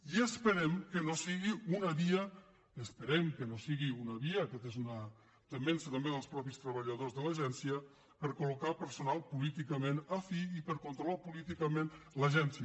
i esperem que no sigui una via aquesta és una temença també dels mateixos treballadors de l’agència per a col·locar personal políticament afí i per a controlar políticament l’agència